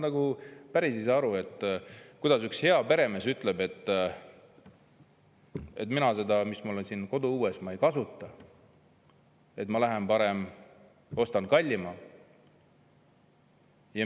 Ma päris ei saa aru, miks üks hea peremees ütleb, et mina seda, mis mul on koduõuel, ei kasuta, vaid lähen parem ostan kallima.